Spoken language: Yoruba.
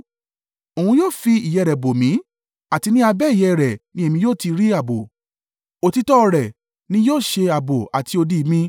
Òun yóò fi ìyẹ́ rẹ̀ bò mí, àti ni abẹ́ ìyẹ́ rẹ̀ ni èmi yóò ti rí ààbò; òtítọ́ rẹ̀ ni yóò ṣe ààbò àti odi mi.